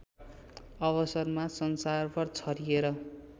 अवसरमा संसारभर छरिएर